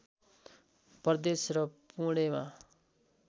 प्रदेश र पुणेमा